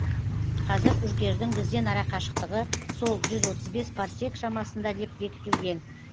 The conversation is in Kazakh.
қазір үркердің бізден арақашықтығы сол жүз отыз бес парсек шамасында деп бекітілген